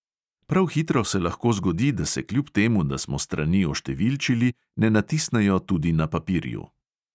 Prav hitro se lahko zgodi, da se kljub temu, da smo strani oštevilčili, ne natisnejo tudi na papirju.